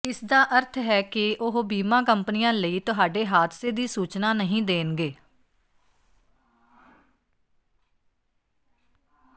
ਇਸਦਾ ਅਰਥ ਹੈ ਕਿ ਉਹ ਬੀਮਾ ਕੰਪਨੀਆਂ ਲਈ ਤੁਹਾਡੇ ਹਾਦਸੇ ਦੀ ਸੂਚਨਾ ਨਹੀਂ ਦੇਣਗੇ